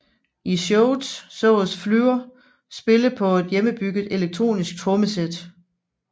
I showet sås Flür spille på et hjemmebygget elektronisk trommesæt